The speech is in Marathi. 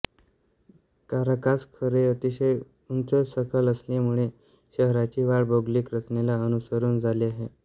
काराकास खोरे अतिशय उंचसखल असल्यामुळे शहराची वाढ भौगोलिक रचनेला अनुसरून झाली आहे